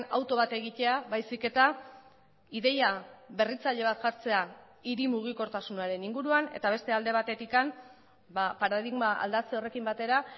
auto bat egitea baizik eta ideia berritzaile bat jartzea hiri mugikortasunaren inguruan eta beste alde batetik paradigma aldatze horrekin batera